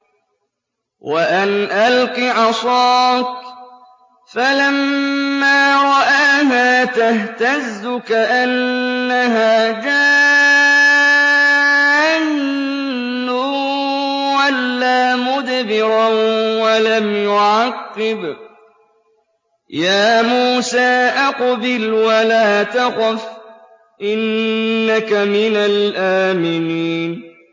وَأَنْ أَلْقِ عَصَاكَ ۖ فَلَمَّا رَآهَا تَهْتَزُّ كَأَنَّهَا جَانٌّ وَلَّىٰ مُدْبِرًا وَلَمْ يُعَقِّبْ ۚ يَا مُوسَىٰ أَقْبِلْ وَلَا تَخَفْ ۖ إِنَّكَ مِنَ الْآمِنِينَ